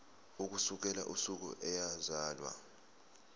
ukusukela usuku eyazalwa